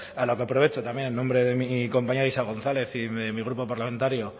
a lo que aprovecho también en nombre de mi compañera isa gonzález y de mi grupo parlamentario